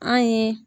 An yi